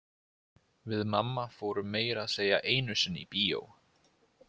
Við mamma fórum meira að segja einu sinni í bíó.